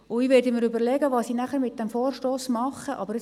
Ich werde mir dann überlegen, was ich mit diesem Vorstoss machen werde.